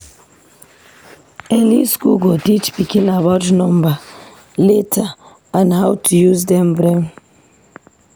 Early school go teach pikin about number, letter, and how to use em brain.